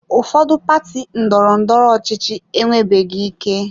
Ụfọdụ pati ndọrọ ndọrọ ọchịchị enwebeghị ike.